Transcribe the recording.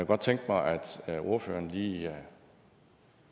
godt tænke mig at ordføreren lige